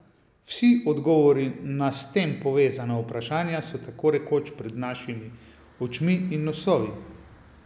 Vsi odgovori na s tem povezana vprašanja so takorekoč pred našimi očmi in nosovi!